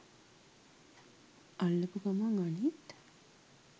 අල්ලපු ගමන් අනිත්